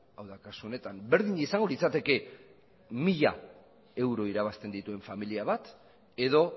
hau da kasu honetan berdin izango litzateke mila euro irabazten dituen familia bat edo